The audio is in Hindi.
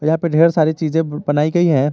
यहां पे ढेर सारी चीजें बनाई गई हैं।